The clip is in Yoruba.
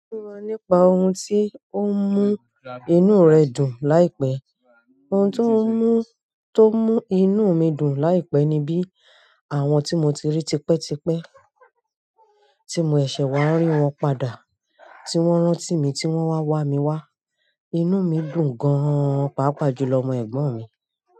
Sọ̀ fún wa nípa ohun tó mú inú rẹ dùn láìpẹ́. Àwọn ohun tó mú inú mi dùn láìpẹ́ ni àwọn tí mo tiri tipẹ́tipẹ́, tí mo ṣe wa rí wọ́n padà, ti wọ́n rántí mi, tí wọ́n wa wami wa inú mi dùn gan nii pàápàá jùlọ ni ẹ̀gbọ́n mi.